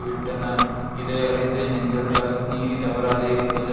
விட்டன இதை அறிந்து நெஞ்சத்தால் நீதி தவறாது இருப்பது